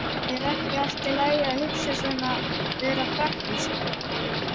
Er ekki allt í lagi að hugsa svona, vera praktísk?